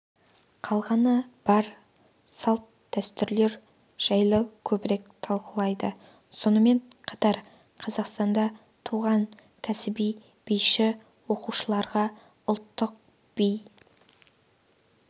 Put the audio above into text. қалғаны бар салт-дәстүрлер жайлы көбірек талқылайды сонымен қатар қазақстанда туған кәсіби биші оқушыларға ұлттық би